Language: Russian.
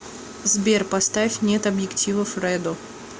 сбер поставь нет объективов редо